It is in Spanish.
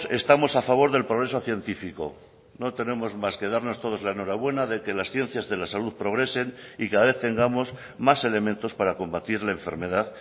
estamos a favor del progreso científico no tenemos más que darnos todos la enhorabuena de que las ciencias de la salud progresen y cada vez tengamos más elementos para combatir la enfermedad